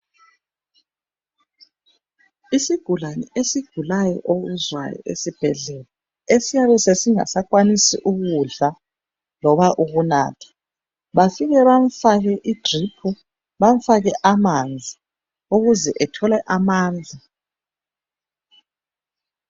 Isigulane esigulayo okuzwayo esibhedlela esiyabe sesingasakwanisi ukudla loba ukunatha bafike bamfake idrip noma amanzi ukuze ethole amandla.